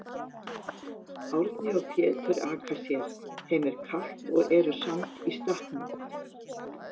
Árni og Pétur aka sér, þeim er kalt og eru samt í stakknum.